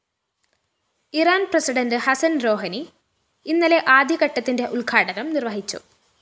ഇറാന്‍ president Hassan‍ Rouhani ഇന്നലെ ആദ്യഘട്ടത്തിന്റെ ഉദ്ഘാടനം നിര്‍വഹിച്ചു